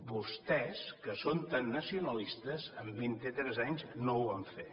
vostès que són tan nacionalistes en vint i tres anys no ho van fer